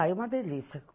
Ah, é uma delícia.